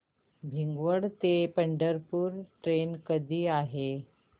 भिगवण ते पंढरपूर ट्रेन कधी आहे